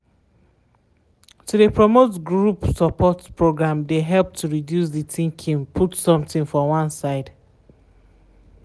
to de promote group support program de help to reduce to de thinking put someting for one side.